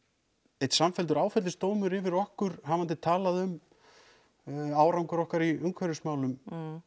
einn samfelldur áfellisdómur fyrir okkur hafandi talað um árangur okkur í umhverfismálum